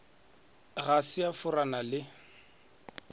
ga se a forana le